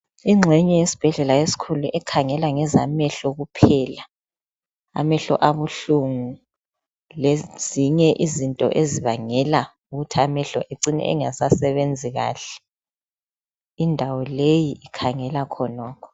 Ingxenye yesibhedlela esikhulu ekhangela ngezamehlo kuphela amehlo abuhlungu lezinye izinto ezibangela ukuthi amehlo ecine engasebenzi kahle indawo leyi ikhangela khonokho.